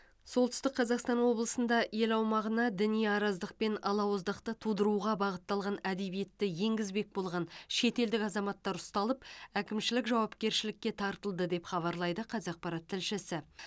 солтүстік қазақстан облысында ел аумағына діни араздық пен алауыздықты тудыруға бағытталған әдебиетті енгізбек болған шетелдік азаматтар ұсталып әкімшілік жауапкершілікке тартылды деп хабарлайды қазақпарат тілшісі